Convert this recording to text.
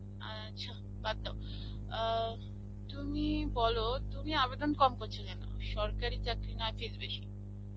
আ আ~চ্ছা, বাদ দাও. আ তুমি বলো তুমি আবেদন কম করছো কেন? সরকারী চাকরী বেশী,